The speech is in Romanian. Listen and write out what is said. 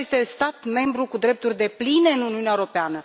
Grecia este stat membru cu drepturi depline în Uniunea Europeană.